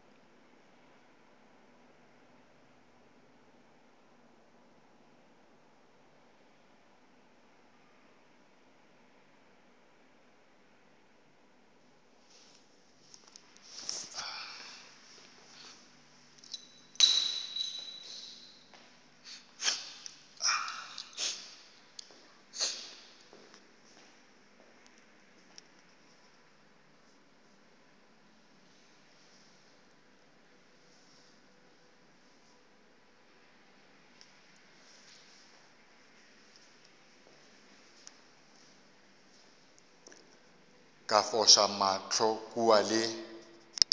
ka foša mahlo kua le